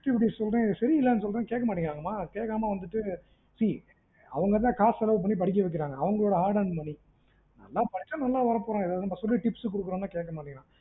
activities லாம் சரி இல்லனு சொல்றன் கேக்க மாட்டிக்காங்க மா அவங்க தான் காசு சேலைவலிச்சு படிக்க வைக்கிறாங்க அவங்களோட hard earn money அதான் படிச்சா நல்லா வரப்போறாங்க tips குடுத்த கேக்க மாட்டிக்கிறாங்க